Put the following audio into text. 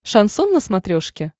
шансон на смотрешке